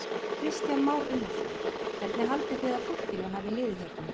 Kristján Már Unnarsson: Hvernig haldið þið að fólkinu hafi liðið hérna?